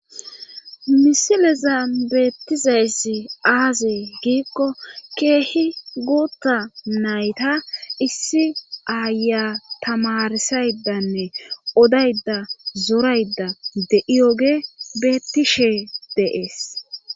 misilezan beettizayssi aaze giikko keehi guutta nayta issi aayiya tamarissayddanne odaydda zoraydda de7iyooge beettishe de7es.